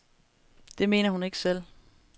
Det mener hun ikke selv.